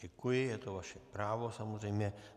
Děkuji, je to vaše právo, samozřejmě.